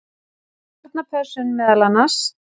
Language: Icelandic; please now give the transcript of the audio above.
Barnapössun meðal annars.